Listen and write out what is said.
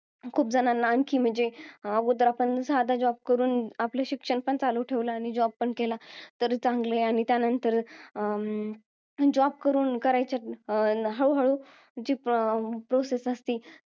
खूप जणांना आणखी म्हणजे, आगोदर आपण साधा job करून आपलं, शिक्षण पण चालू ठेवलं आणि job पण केला, तरी चांगलं आहे. आणि त्यानंतर अं job करून करायच्या, अं हळूहळू जी अं process असती,